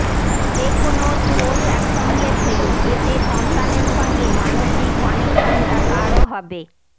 যে কোনও স্পোর্টস একসঙ্গে খেলুন এতে সন্তানের সঙ্গে মানসিক কানেকশনটা গাঢ় হবে